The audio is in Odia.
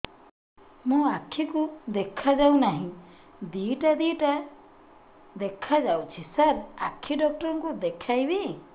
ମୋ ଆଖିକୁ ଦେଖା ଯାଉ ନାହିଁ ଦିଇଟା ଦିଇଟା ଦେଖା ଯାଉଛି ସାର୍ ଆଖି ଡକ୍ଟର କୁ ଦେଖାଇବି